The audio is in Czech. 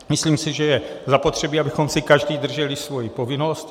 Myslím si, že je zapotřebí, abychom si každý drželi svoji povinnost.